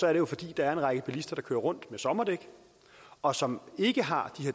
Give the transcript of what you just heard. er det jo fordi der er en række bilister der kører rundt med sommerdæk og som ikke har